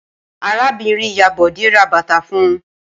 Arábìnrin-ìyá Bọ̀dé ra bàtà fún un.